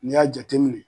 N'i y'a jateminɛ